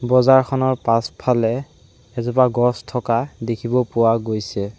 বজাৰখনৰ পাছফালে এজোপা গছ থকা দেখিব পোৱা গৈছে।